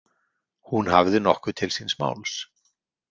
Hún hafði nokkuð til síns máls.